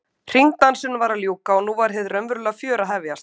Hringdansinum var að ljúka og nú var hið raunverulega fjör að hefjast.